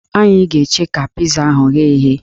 Anyị ga-eche ka piza ahụ ghee eghe